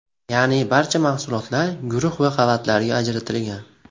Ya’ni, barcha mahsulotlar guruh va qavatlarga ajratilgan.